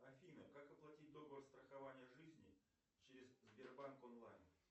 афина как оплатить договор страхования жизни через сбербанк онлайн